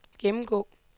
gennemgå